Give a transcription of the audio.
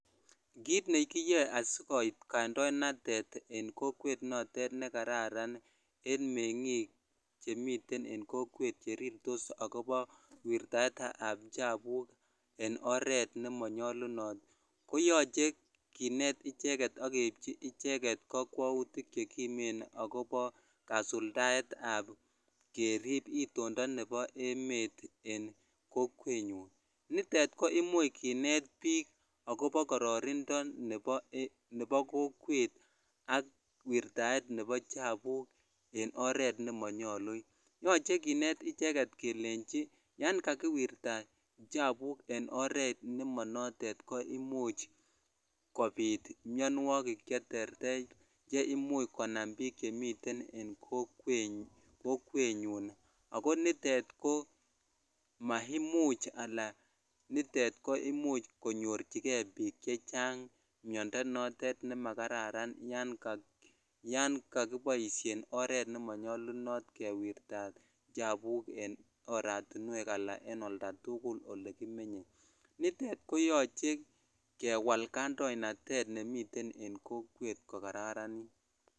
Kiit nekiyoe asikoit kandoinatet en kokwet notet ne kararan en meng'ik chemiten en kokwet cherirtos ak kobo wirtaetab chapuuk en oret nemonyolunot koyoche kinet icheket okeibji icheket kokwoutik chekimen ak kobo kasuldaetab kerib itondo nebo emet en kokwenyun, nitet ko kimuch kinet biik ak kobo kororindo nebo kokwet ak wirtaet nebo chabuk en oret nemonyolu, yoche kinet icheket kelenchi yoon kakiwirta chabuk en oreet nemonoton ko imuch kobiit mionwokik cheterter cheimuch konam biik chemiten en kokwenyun ak ko nitet ko maimuch alaan nitet koimuch konyorchike biik chechang miondo notet nemakararan yoon kokiboishen oreet nemonyolunot kewirtat chapuuk en oratinwek alaan en oldatukul olekimenye, nitet koyoche kewal kandoinatet nemiten en kokwet kokararanit.